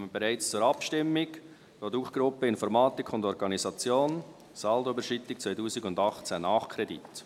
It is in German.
Wir kommen bereits zur Abstimmung – «Produktgruppe Informatik und Organisation, Saldoüberschreitung 2018, Nachkredit».